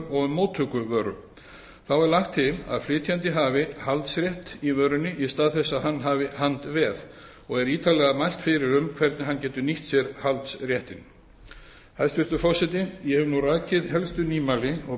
um móttöku vöru þá er lagt til að flytjandi hafi haldsrétt í vörunni í stað þess að hann hafi handveð og er ítarlega mælt fyrir um hvernig hann getur nýtt sér haldsréttinn hæstvirtur forseti ég hef nú rakið helstu nýmæli og